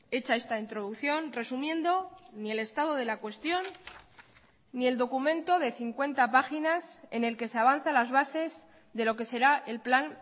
hecha esta introducción resumiendo ni el estado de la cuestión ni el documento de cincuenta páginas en el que se avanza las bases de lo que será el plan